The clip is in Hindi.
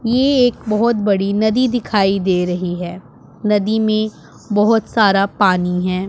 ये एक बहोत बड़ी नदी दिखाई दे रही है नदी में बहोत सारा पानी है।